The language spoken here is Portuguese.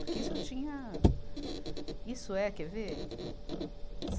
Porque isso eu tinha... Isso é, quer ver?